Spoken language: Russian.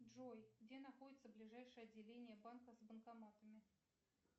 джой где находится ближайшее отделение банка с банкоматами